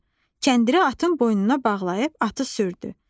Kəndiri atın boynuna bağlayıb atı sürdü.